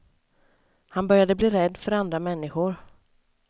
Han började bli rädd för andra människor.